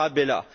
Tarabella